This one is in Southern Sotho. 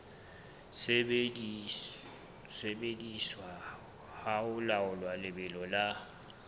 sebediswa ho laola lebelo la